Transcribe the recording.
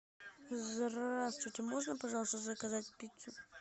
здравствуйте можно пожалуйста заказать пиццу